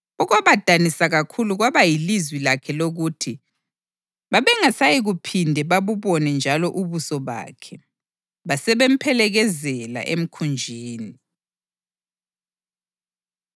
Okwabadanisa kakhulu kwaba yilizwi lakhe lokuthi babengasayikuphinde babubone njalo ubuso bakhe. Basebemphelekezela emkhunjini.